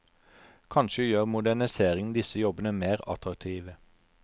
Kanskje gjør moderniseringen disse jobbene mer attraktive.